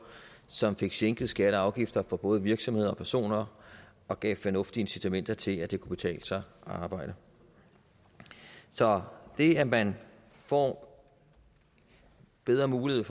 som fik sænket skatter og afgifter for både virksomheder og personer og gav fornuftige incitamenter til at det kunne betale sig at arbejde så det at man får bedre muligheder